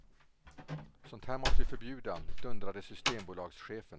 Sånt här måste vi förbjuda, dundrade systembolagschefen.